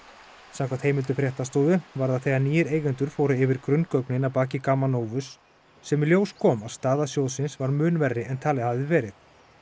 samkvæmt heimildum fréttastofu var það þegar nýir eigendur fóru yfir grunngögnin að baki Gamma Novus sem í ljós kom að staða sjóðsins var mun verri en talið hafði verið